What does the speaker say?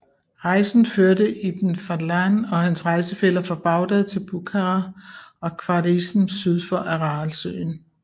Rejsen førte Ibn Fadlan og hans rejsefæller fra Bagdad til Bukhara og Khwarizm syd for Aralsøen